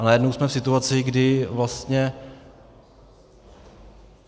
A najednou jsme v situaci, kdy vlastně...